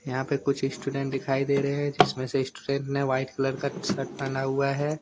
यहां पे कुछ स्टूडेंट दिखाई दे रहे हैं जिसमें से स्टूडेंट ने व्हाइट कलर का टी शर्ट पहना हुआ है।